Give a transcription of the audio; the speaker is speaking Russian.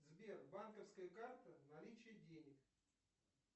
сбер банковская карта наличие денег